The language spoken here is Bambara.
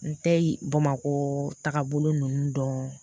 N tɛ bamakɔ tagabolo ninnu dɔn